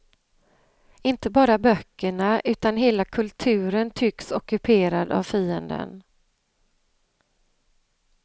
Inte bara böckerna, utan hela kulturen tycks ockuperad av fienden.